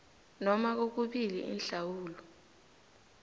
noma kokubili inhlawulo